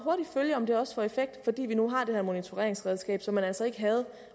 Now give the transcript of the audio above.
følge om det også får effekt fordi vi nu har det her monitoreringsredskab som man altså ikke havde